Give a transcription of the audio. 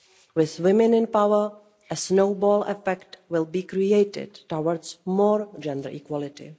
With women in power, a snowball effect will be created towards more gender equality.